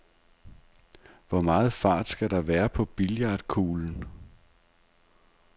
Hvor meget fart skal der være på billiardkuglen?